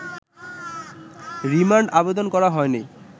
remand আবেদন করা হয়নি’